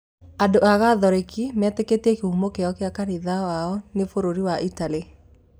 Andũ a gatholeki metĩkĩtie kĩhumo kĩa kanitha wao nĩ bũrũri wa italy.